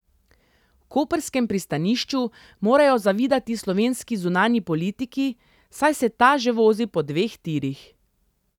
V koprskem pristanišču morajo zavidati slovenski zunanji politiki, saj se ta že vozi po dveh tirih.